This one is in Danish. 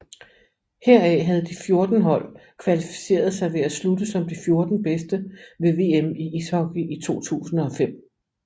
Heraf havde de 14 hold kvalificeret sig ved at slutte som de 14 bedste ved VM i ishockey 2005